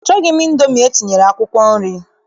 Achọghị m Indomi etinyere akwụkwọ nri.